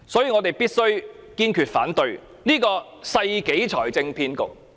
我們必須堅決反對這個世紀財政騙局。